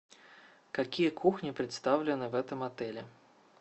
какие кухни представлены в этом отеле